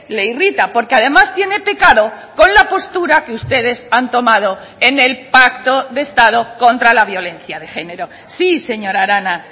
le irrita porque además tiene pecado con la postura que ustedes han tomado en el pacto de estado contra la violencia de género sí señora arana